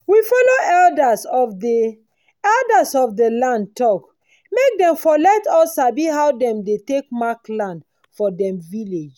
we follow elders of dey elders of dey land talk make dem for let us sabi how dem dey take mark land for dem village